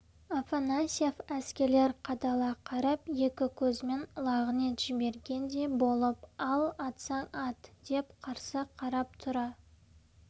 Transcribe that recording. афанасьев әскерлер қадала қарап екі көзімен лағынет жібергендей болып ал атсаң ат деп қарсы қарап тұра